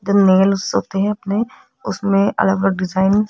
जो नेल्स होते हैं अपने उसमें अलग अलग डिजाइन --